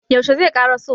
yaushe zai ƙaraso?